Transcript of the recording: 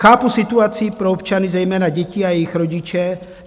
Chápu situaci pro občany, zejména děti a jejich rodiče.